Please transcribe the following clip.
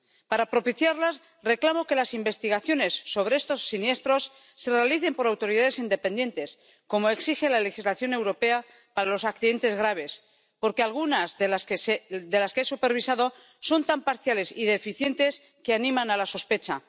Para propiciarlas, reclamo que las investigaciones sobre estos siniestros las realicen autoridades independientes ―como exige la legislación europea para los accidentes graves―, porque algunas de las que he supervisado son tan parciales y deficientes que animan a la sospecha.